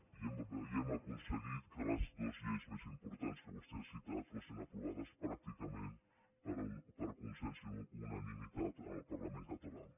i hem aconseguit que les dues lleis més importants que vostè ha citat fossin aprovades pràcticament per consens i unanimitat en el parlament català